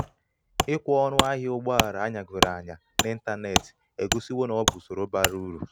ikwe ọṅụ ahịa ụgbọ ala anyagoro anya n'ịntanetị egosiwo na ọ bụ usoro bara uru